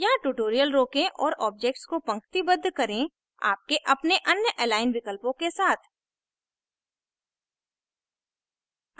यहाँ tutorial रोकें और objects को पंक्तिबद्ध करें आपके अपने अन्य align विकल्पों के साथ